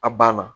A banna